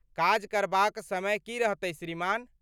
काज करबाक समय की रहतै श्रीमान?